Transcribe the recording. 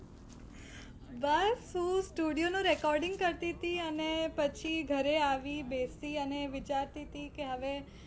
બસ હું studio નું recording કરતી હતી અને પછી ઘરે આવી, બેસી અને વિચારતી હતી કે હવે